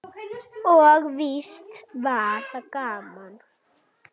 Og víst var það gaman.